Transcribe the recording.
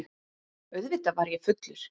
Auðvitað var ég fullur.